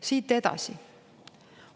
Siit edasi.